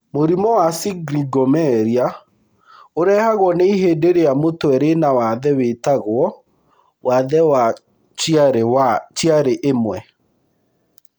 Mũrimũ wa Syringomyelia urehagwo nĩ ihĩndĩ rĩa mũtwe rĩna wathe wĩtagwo wathe wa Chiari I.